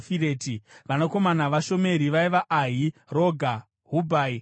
Vanakomana vaShomeri vaiva: Ahi, Roga, Hubhai naAramu.